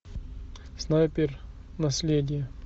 снайпер наследие